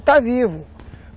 Está vivo.